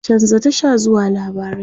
chanza Tasha zuwa labarai!